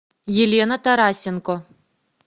елена тарасенко